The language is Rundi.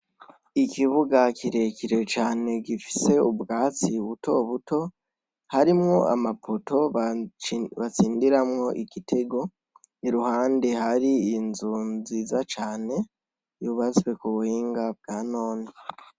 Ikibuha kirekire cane gifise ubwatsi butobuto harimwo amapoto batsindiramwo igitego iruhande hari inzu nziza cane yubatswe kubuhinga bwa none